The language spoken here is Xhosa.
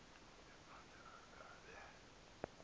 ephantsi aze abe